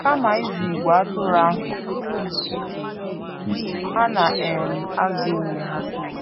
Kama ịzụ ìgwè atụrụ ahụ, ha na - um azụ onwe ha.